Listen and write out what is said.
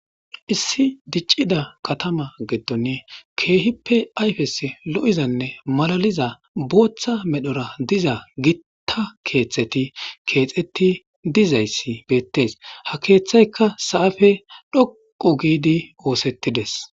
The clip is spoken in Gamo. Issi diccida katama geetton keehippe ayfes lo'izanne malaliza booththa medhora diza gitta keeththeti keexetti dizayssi beettees ha keeththayka sa'afe dhoqo giidi oosettides